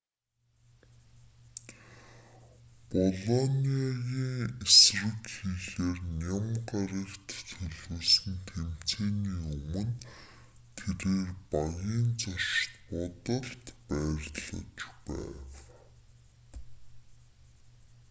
болониагийн эсрэг хийхээр ням гарагт төлөвлөсөн тэмцээний өмнө тэрээр багийн зочид буудалд байрлаж байв